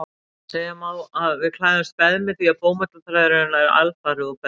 Segja má að við klæðumst beðmi því bómullarþræðir eru nær alfarið úr beðmi.